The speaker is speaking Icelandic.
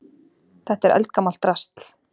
Þetta er eldgamalt drasl.